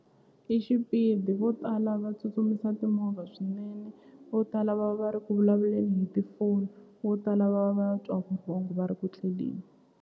I xipidi vo tala va tsutsumisa timovha swinene vo tala va va ri ku vulavuleni hi tifoni vo tala va va twa vurhongo va ri ku tleleni.